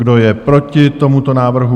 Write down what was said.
Kdo je proti tomuto návrhu?